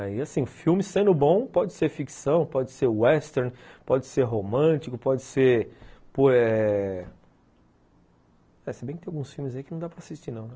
Aí assim, filme sendo bom, pode ser ficção, pode ser western, pode ser romântico, pode ser... Eh... E se bem que tem alguns filmes aí que não dá para assistir não, né?